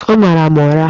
Ọ mara m ụra!